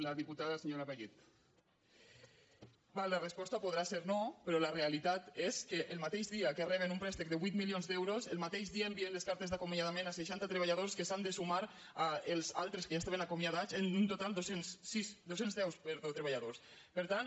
la resposta podrà ser no però la realitat és que el mateix dia que reben un préstec de vuit milions d’euros el mateix dia envien les cartes d’acomiadament a seixanta treballadors que s’han de sumar als altres que ja estaven acomiadats en total dos cents i deu treballadors per tant